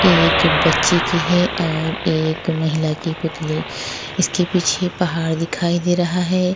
एक बच्चे की है और एक महिला की पुतली इसके पीछे पहाड़ दिखाई दे रहा है।